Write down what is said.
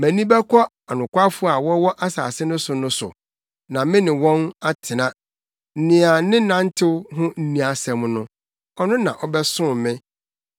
Mʼani bɛkɔ anokwafo a wɔwɔ asase no so no so na me ne wɔn atena; nea ne nantew ho nni asɛm no ɔno na ɔbɛsom me.